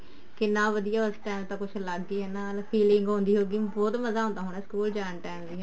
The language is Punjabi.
ਕਿੰਨਾ ਵਧੀਆ ਉਸ time ਕੁੱਝ ਅਲੱਗ ਹੀ ਨਾਲ feeling ਆਉਂਦੀ ਹੋਊਗੀ ਬਹੁਤ ਮਜ਼ਾ ਆਉਂਦਾ ਹੋਣਾ ਸਕੂਲ ਜਾਣ time ਵੀ ਹਨਾ